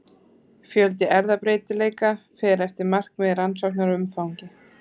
Fjöldi erfðabreytileika fer eftir markmiði rannsóknar og umfangi.